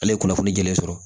Ale ye kunnafoni jɛlen sɔrɔ